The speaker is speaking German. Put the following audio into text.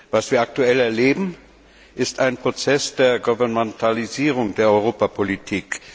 Was wir aktuell erleben, ist ein Prozess der Gouvernementalisierung der Europapolitik.